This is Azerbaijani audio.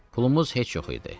Pulumuz heç yox idi.